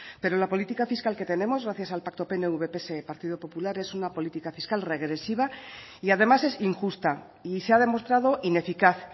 pero la política fiscal que tenemos gracias al pacto pnv pse pp es una política fiscal regresiva y además es injusta y se ha demostrado ineficaz